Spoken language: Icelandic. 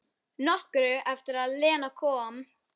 Nokkru eftir að Lena kom.